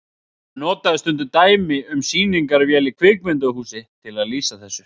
Hann notaði stundum dæmi um sýningarvél í kvikmyndahúsi til að lýsa þessu.